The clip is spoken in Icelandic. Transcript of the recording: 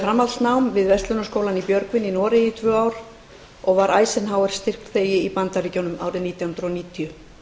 framhaldsnám við verslunarháskólann í björgvin í noregi í tvö ár og var eisenhower styrkþegi í bandaríkjunum árið nítján hundruð níutíu